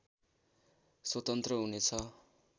स्वतन्त्र हुने छ